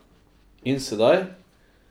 In sedaj?